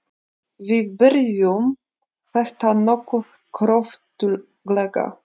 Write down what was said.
Við byrjuðum þetta nokkuð kröftuglega.